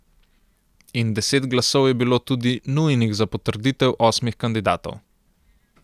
In deset glasov je bilo tudi nujnih za potrditev osmih kandidatov.